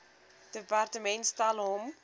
departement stel hom